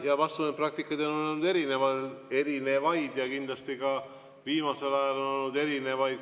Jaa, vastus on, et praktikaid on olnud erinevaid ja kindlasti ka viimasel ajal olnud erinevaid.